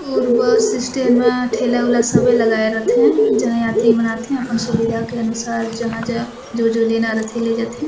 और bus stand मा ठेला उला सबे लगाए रथे जहाँ यात्री मन आथे अपन सुविधा के अनुसार जहाँ जहाँ जो जो लैला रथे ले जथे।